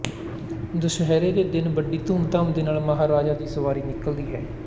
ਦਸ਼ਹਰੇ ਦੇ ਦਿਨ ਵੱਡੀ ਧੁੰਮ ਧਾਮ ਦੇ ਨਾਲ ਮਹਾਰਾਜਾ ਦੀ ਸਵਾਰੀ ਨਿਕਲਦੀ ਹੈ